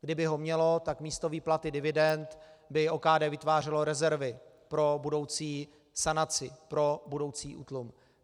Kdyby ho mělo, tak místo výplaty dividend by OKD vytvářelo rezervy pro budoucí sanaci, pro budoucí útlum.